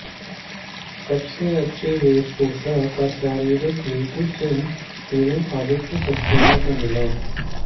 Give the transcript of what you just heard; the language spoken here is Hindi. सबसे अच्छी वेशभूषा का शीर्षक नीतू सिंह एव आदित्य सक्सैना को मिला